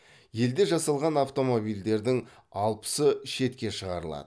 елде жасалған автомобильдердің алпысы шетке шығарылады